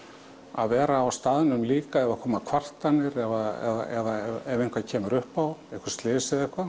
að vera á staðnum líka ef það koma kvartanir eða eitthvað kemur upp á einhver slys eða eitthvað